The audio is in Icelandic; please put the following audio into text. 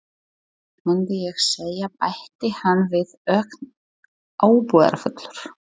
Mundi ég segja- bætti hann við ögn ábúðarfullur.